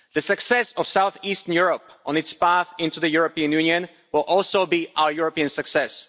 The success of south-eastern Europe on its path into the European Union will also be our European success.